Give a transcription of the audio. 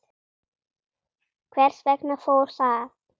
Hvers vegna fór það?